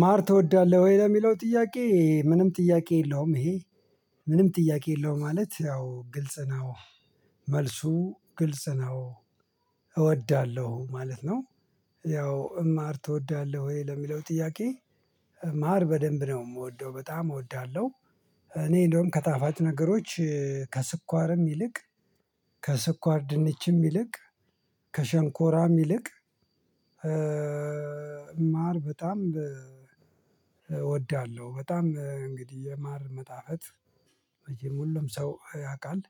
ማር ትወዳለሁ ወይ ለሚለው ጥያቄ ምንም ጥያቄ የለውም ይሄ ምንም ጥያቄ የለውም ማለት ያው ግልጽ ነው። መልሱ ግልጽ ነው። እወዳለሁ ማለት ነው። ያው እማር ትወዳለህ ወይ ለሚለው ጥያቄ? ማር በደንብ ነው የምወደው በጣም እወዳለሁ። እኔ እንደውም ከጣፋጭ ነገሮች ከስኳርም ይልቅ ከስኳር ድንችም ይልቅ ከሸንኮራም ይልቅ። ማር በጣም እወዳለሁ በጣም እንግዲህ የማር መጣፈጥ ሁሉም ሰው ያውቃል።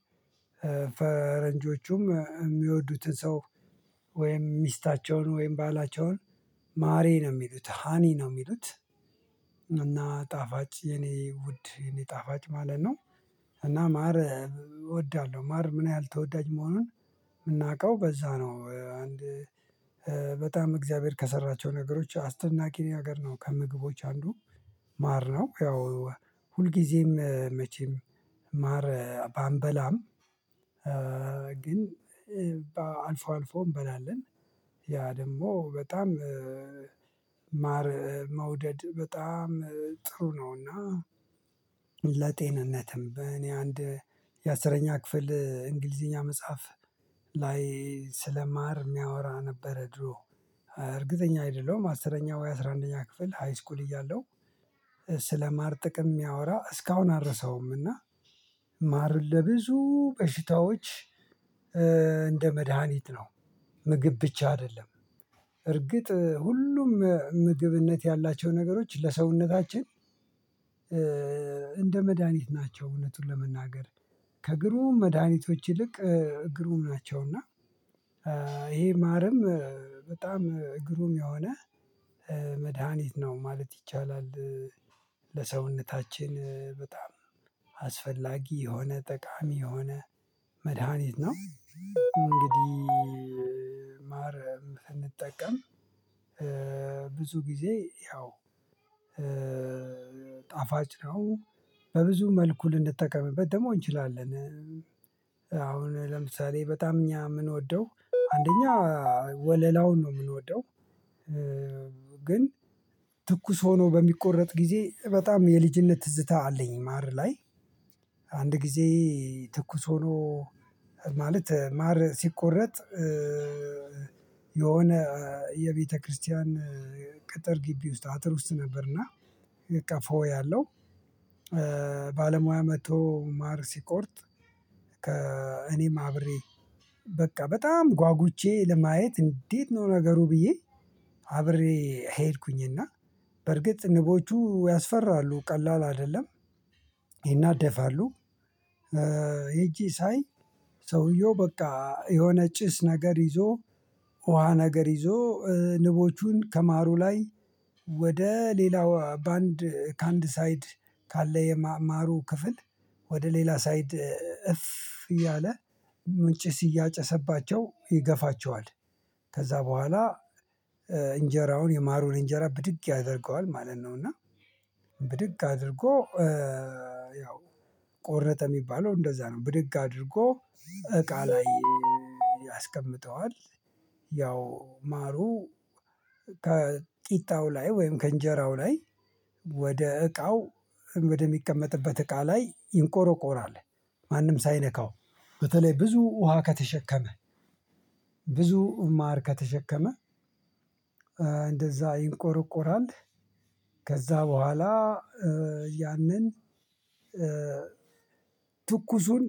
ፈረንጆቹም የሚወዱትን ሰው ወይም ሚስታቸውን ወይም ባላቸውን ማሬ ነው የሚሉት ሃኒ ነው የሚሉት። እና ጣፋጭ የኔ ውድ የኔ ጣፋጭ ማለት ነው። እና ማር እወዳለሁ። ማር ምን ያህል ተወዳጅ መሆኑን የምናውቀው በዛ ነው። አንድ በጣም እግዚአብሔር ከሰራቸው ነገሮች አስደናቂ ነገር ነው ከምግቦች አንዱ። ማር ነው። ያው ሁልጊዜም መቼም ማር ባንበላም ግን አልፎ አልፎ እንበላለን። ያ ደግሞ በጣም ማር መውደድ በጣም ጥሩ ነውና። ለጤንነትም በእኔ አንድ የአስረኛ ክፍል እንግሊዘኛ መጽሐፍ ላይ ስለማር የሚያወራ ነበረ ድሮ። እርግጠኛ አይደለም አስረኛው ወይ አስራ አንደኛ ክፍል ሃይስኩል እያለው እያለሁ ስለማር ጥቅም የሚያወራ እስካሁን አልረሳውም። እና ማር ለብዙ በሽታዎች እንደ መድሃኒት ነው። ምግብ ብቻ አይደለም። እርግጥ ሁሉም ምግብነት ያላቸው ነገሮች ለሰውነታችን እንደ መድሃኒት ናቸው። እውነቱን ለመናገር ከግሩም መድኃኒቶች ይልቅ ግሩም ናቸው እና። ይሄ ማርም በጣም ግሩም የሆነ መድሃኒት ነው ማለት ይቻላል። ለሰውነታችን በጣም አስፈላጊ የሆነ ጠቃሚ የሆነ መድሃኒት ነው። እንግዲህ ማር ስንጠቀም ብዙ ጊዜ ያው ጣፋጭ ነው በብዙ መልኩ ልንጠቀምበት ደግሞ እንችላለን። አሁን ለምሳሌ በጣም እኛ የምንወደው አንደኛ ወለላውን ነው የምንወደው። ግን ትኩስ ሆኖ በሚቆረጥ ጊዜ በጣም የልጅነት ትዝታ አለኝ ማር ላይ። አንድ ጊዜ ትኩስ ሆኖ ማለት ማር ሲቆረጥ። የሆነ የቤተክርስቲያን ቅጥር ግቢ ውስጥ አጥር ውስጥ ነበርና በቃ ፎይ አለው። ባለሙያ መጥቶ ማር ሲቆርጥ። ከእኔም አብሬ በቃ በጣም ጓጉቼ ለማየት እንዴት ነው ነገሩ ብዬ አብሬ ሄድኩኝና በርግጥ ንቦቹ ያስፈራሉ ቀላል አይደለም። ይናደፋሉ። ሄጄ ሳይ ሰውየው በቃ የሆነ ጭስ ነገር ይዞ ውሃ ነገር ይዞ ንቦቹን ከማሩ ላይ ወደ ሌላው በአንድ ከአንድ ሳይድ ካለ የማሩ ክፍል ወደ ሌላ ሳይድ እፍ እያለ ምን ጭስ እያጨሰባቸው ይገፋቸዋል። ከዛ በኋላ እንጀራውን የማሩን እንጀራ ብድግ ያደርገዋል ማለት ነው። እና ብድግ አድርጎ ያው ቆረጠ የሚባለው እንደዛ ነው ብድግ አድርጎ እቃ ላይ ያስቀምጠዋል። ያው ማሩ ከጢጣው ላይ ወይም ከእንጀራው ላይ ወደ እቃው ወደ ሚቀመጥበት እቃ ላይ ይንቆረቆራል ማንም ሳይነካው በተለይ ብዙ ውሃ ከተሸከመ ብዙ ማር ከተሸከመ እንደዛ ይንቆረቆራል። ከዛ በኋላ ያንን ትኩሱን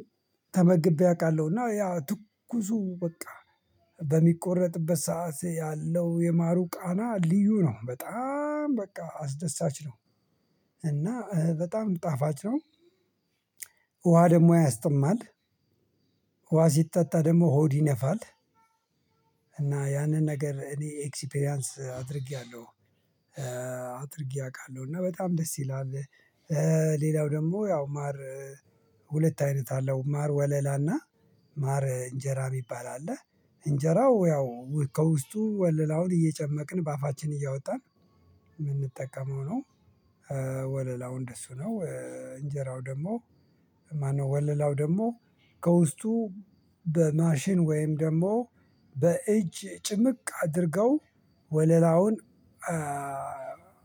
ተመግቤ አውቃለሁ። እና ያ ትኩሱ በቃ በሚቆረጥበት ሰዓት ያለው የማሩ ቃና ልዩ ነው በጣም በቃ አስደሳች ነው። እና በጣም ጣፋጭ ነው። ውሃ ደግሞ ያስጥማል። ውሃ ሲጠጣ ደግሞ ሆድ ይነፋል። እና ያንን ነገር እኔ ኤክስፒሪያንስ አድርጌያለሁ። አድርጌ አውቃለሁ እና በጣም ደስ ይላል። ሌላው ደግሞ ያው ማር ሁለት አይነት አለው ማር ወለላና ማር እንጀራ የሚባል አለ። እንጀራው ያው ከውስጡ ወለላውን እየጨመቅን በአፋችን እያወጣን የምንጠቀመው ነው። ወለላው እንደሱ ነው። እንጀራው ደግሞ ማነው ወለላው ደግሞ ከውስጡ በማሽን ወይም ደግሞ በእጅ ጭምቅ አድርገው ወለላውን